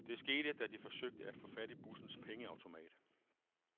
Det skete, da de forsøgte at få fat i bussens pengeautomat.